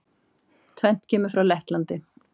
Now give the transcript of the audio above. Tvennt kemur frá Lettlandi.